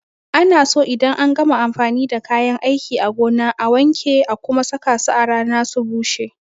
Ana so idan an gama amfani da kayan aiki a gona a wanke a kuma saka su a rana su bushe.